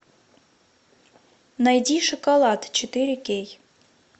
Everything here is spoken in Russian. найди шоколад четыре кей